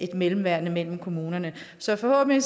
mellemværende mellem kommunerne så forhåbentlig